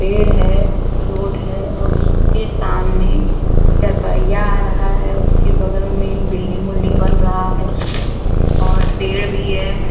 पेड़ है। रोड है और उसके सामने चरपैया आ रहा है उसके बगल में बिल्डिंग उल्डिंग बन रहा है और पेड़ भी है।